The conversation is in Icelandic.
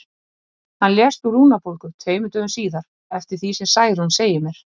Hann lést úr lungnabólgu tveimur dögum síðar, eftir því sem Særún segir mér.